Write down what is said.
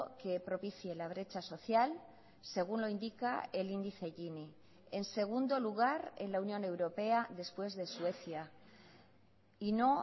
que propicie la brecha social según lo indica el índice gini en segundo lugar en la unión europea después de suecia y no